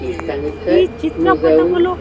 ఈ చిత్ర పటములో.